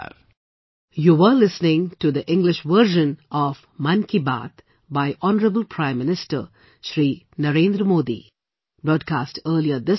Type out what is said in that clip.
Namaskar